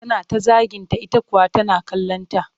Tana ta zaginta ita kuwa tana kallonta